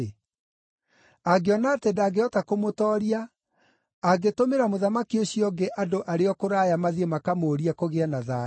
Angĩona atĩ ndangĩhota kũmũtooria, angĩtũmĩra mũthamaki ũcio ũngĩ andũ arĩ o kũraya mathiĩ makamũũrie kũgĩe na thayũ.